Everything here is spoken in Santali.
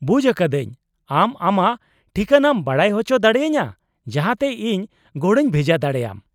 -ᱵᱩᱡ ᱟᱠᱟᱫᱟᱹᱧ ᱾ ᱟᱢ ᱟᱢᱟᱜ ᱴᱷᱤᱠᱟᱹᱱᱟᱢ ᱵᱟᱰᱟᱭ ᱚᱪᱚ ᱫᱟᱲᱮᱭᱟᱹᱧᱟᱹ ᱡᱟᱦᱟᱸᱛᱮ ᱤᱧ ᱜᱚᱲᱚᱧ ᱵᱷᱮᱡᱟ ᱫᱟᱲᱮᱭᱟᱢ ?